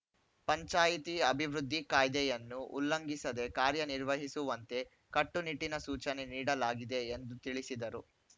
ಪಂಚಾಯಿತಿ ಅಭಿವೃದ್ಧಿ ಕಾಯ್ದೆಯನ್ನು ಉಲ್ಲಂಘಿಸದೆ ಕಾರ್ಯನಿರ್ವಹಿಸುವಂತೆ ಕಟ್ಟುನಿಟ್ಟಿನ ಸೂಚನೆ ನೀಡಲಾಗಿದೆ ಎಂದು ತಿಳಿಸಿದರು